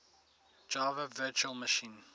java virtual machine